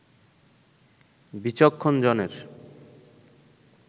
বিচক্ষণ জনের